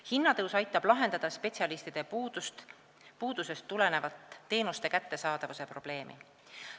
Hinnatõus aitab lahendada spetsialistide puudusest tulenevat teenuste kättesaadavuse probleemi.